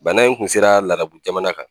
Bana in kun sera larabu jamana kan